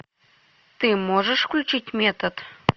ты можешь включить метод